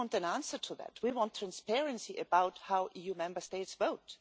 We want an answer to that, we want transparency about how EU Member States vote.